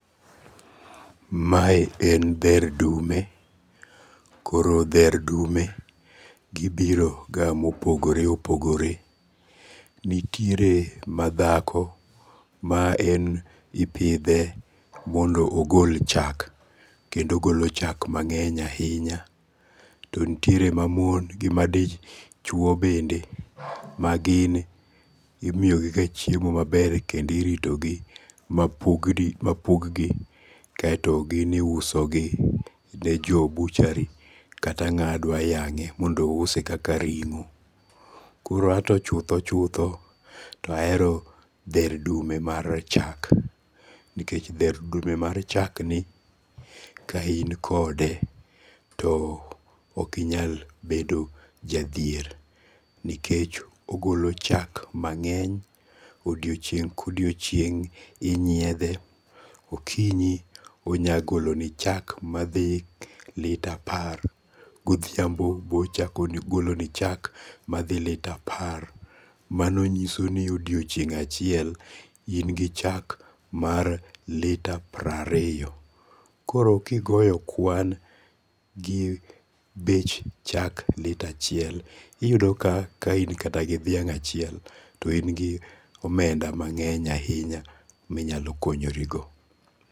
Mae en dher dume. Koro dher dume gibiro ga mopogore opogore. Nitiere ma dhako ma en ipidhe mondo ogol chak. Kendo ogolo chak mang'eny ahinya. To nitiere ma mon gi madichuo bende ma gin imiyogiga chiemo maber kendo iritogi ma pug gi kaeto gin iuso gi ne jo ]butchery kata ng'a dwa yang'e mondo ouse kaka ring'o. Kor anto chutho chutho, to ahero dher dume mar chak. Nikech dher dume ma chak ni ka inkode to ok inyal bedo jadhier nikech ogolo chak mang'eny. Odiochieng' kodiochieng' inyiedhe. Okinyi onya goloni chak madhi lita apar. Godhiambo bechako goloni chak madhi lita apar. Mano chiso ni odiochieng' achiel in gi chak mar lita piero arito. Koro kigoyo kwan gi bech chak lita achiel, iyudo ka ka in kata dhiang' achiel to in gi omenda mangeny ahinya minyalo konyoro go.